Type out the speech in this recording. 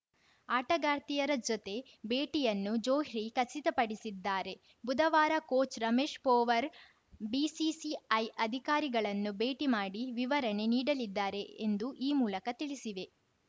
ಆಟಗಾರ್ತಿಯರ ಜೊತೆ ಭೇಟಿಯನ್ನು ಜೋಹ್ರಿ ಖಚಿತಪಡಿಸಿದ್ದಾರೆ ಬುಧವಾರ ಕೋಚ್‌ ರಮೇಶ್‌ ಪೊವಾರ್‌ ಬಿಸಿಸಿಐ ಅಧಿಕಾರಿಗಳನ್ನು ಭೇಟಿ ಮಾಡಿ ವಿವರಣೆ ನೀಡಲಿದ್ದಾರೆ ಎಂದು ಈ ಮೂಲಕ ತಿಳಿಸಿವೆ